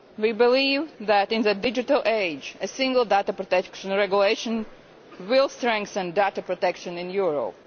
We believe that, in the digital age, a single data protection regulation will strengthen data protection in Europe.